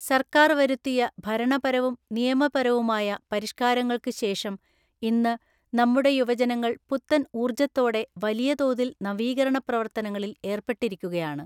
സർക്കാർ വരുത്തിയ ഭരണപരവും നിയമപരവുമായ പരിഷ് കാരങ്ങൾക്ക് ശേഷം ഇന്ന് നമ്മുടെ യുവജനങ്ങൾ പുത്തൻ ഊർജത്തോടെ വലിയ തോതിൽ നവീകരണ പ്രവർത്തനങ്ങളിൽ ഏർപ്പെട്ടിരിക്കുകയാണ്.